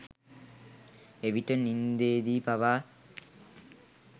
එවිට නින්දේදී පවා